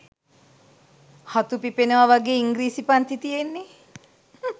හතු පිපෙනව වගේ ඉංග්‍රීසි පන්ති තියෙන්නේ.